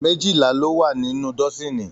Méjìlá lọ wá nínú dọ́sini.